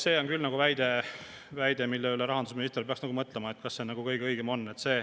See on küll väide, mille üle rahandusminister peaks nagu mõtlema, kas see ikka kõige õigem on.